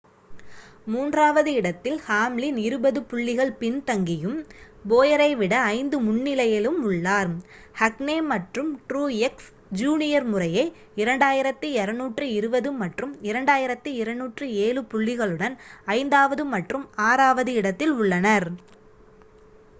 மூன்றாவது இடத்தில் ஹாம்லின் இருபது புள்ளிகள் பின்தங்கியும் போயரை விட ஐந்து முன்னிலையிலும் உள்ளார் கஹ்னே மற்றும் ட்ரூயெக்ஸ் ஜூனியர் முறையே 2,220 மற்றும் 2,207 புள்ளிகளுடன் ஐந்தாவது மற்றும் ஆறாவது இடத்தில் உள்ளனர்